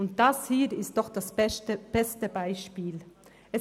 Das hier ist nun das beste Beispiel dafür: